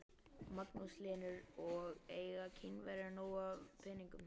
Magnús Hlynur: Og eiga Kínverjar nóg af peningum?